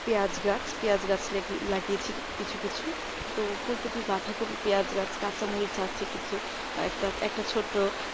পিয়াজ গাছ পেঁয়াজ গাছ লাগিয়েছে কিছু কিছু তো ফুলকপি বাঁধাকপি পেঁয়াজ গাছ কাঁচামরিচ আছে কিছু একটা~ একটা ছোট্ট